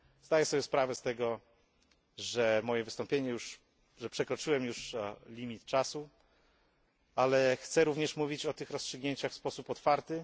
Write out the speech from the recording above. Zdaję sobie sprawę z tego, że moje wystąpienie przekroczyło już limit czasu, ale chcę mówić o tych rozstrzygnięciach w sposób otwarty.